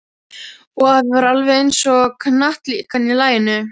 Og afi var alveg eins og hnattlíkan í laginu.